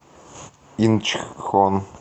инчхон